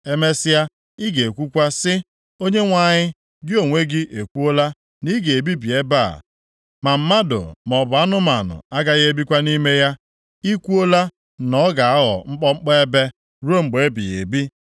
Emesịa, ị ga-ekwukwa sị, ‘ Onyenwe anyị, gị onwe gị ekwuola na i ga-ebibi ebe a, ma mmadụ maọbụ anụmanụ agaghị ebikwa nʼime ya. I kwuokwala na ọ ga-aghọ mkpọmkpọ ebe ruo mgbe ebighị ebi.’